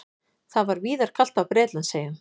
Það var víðar kalt á Bretlandseyjum